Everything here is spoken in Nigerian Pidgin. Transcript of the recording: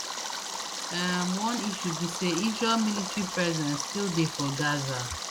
um one issue be say israel military presence still dey for gaza